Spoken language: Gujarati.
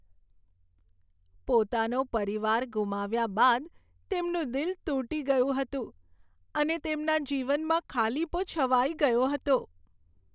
પોતાનો પરિવાર ગુમાવ્યા બાદ તેમનું દિલ તૂટી ગયું હતું અને તેમના જીવનમાં ખાલીપો છવાઈ ગયો હતો.